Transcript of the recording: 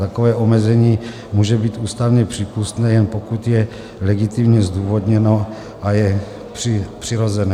Takové omezení může být ústavně přípustné, jen pokud je legitimně zdůvodněno a je přirozené.